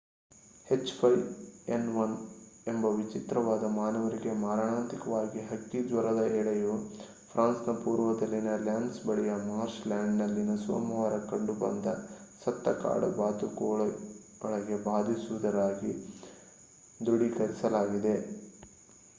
H5N1 ಎಂಬ ವಿಚಿತ್ರವಾದ ಮಾನವರಿಗೆ ಮಾರಣಾಂತಿಕವಾದ ಹಕ್ಕಿ ಜ್ವರದ ಎಳೆಯು ಫ್ರಾನ್ಸ್‌ನ ಪೂರ್ವದಲ್ಲಿನ ಲ್ಯಾನ್‌ ಬಳಿಯ ಮಾರ್ಶ್‌ಲ್ಯಾಂಡ್‌ನಲ್ಲಿನ ಸೋಮವಾರ ಕಂಡುಬಂದ ಸತ್ತ ಕಾಡು ಬಾತುಕೋಳಗೆ ಬಾಧಿಸಿರುವುದಾಗಿ ದೃಢೀಕರಿಸಲಾಗಿದೆ